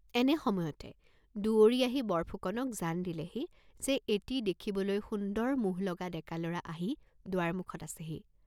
..এনে সময়তে দুৱৰী আহি বৰফুকনক জান দিলেহি যে এটি দেখিবলৈ সুন্দৰ মোহ লগা ডেকা ল'ৰা আহি দুৱাৰ মুখত আছেহি।